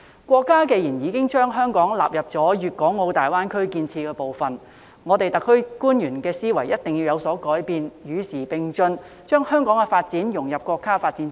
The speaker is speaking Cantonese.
國家既然已將香港納入粵港澳大灣區建設部分，香港特區官員的思維一定要有所改變，與時並進，將香港的發展融入國家發展之中。